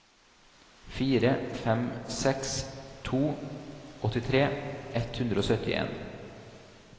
fire fem seks to åttitre ett hundre og syttien